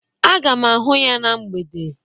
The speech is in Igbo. Aga m ahụ ya na mgbede